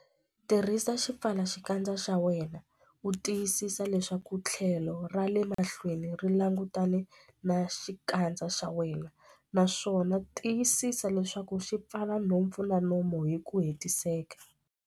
Tirhisa xipfalaxikandza xa wena u tiyisisa leswaku tlhelo ra le mahlweni ri langutane na xikandza xa wena, naswona tiyisisa leswaku xi pfala nhompfu na nomo hi ku hetiseka.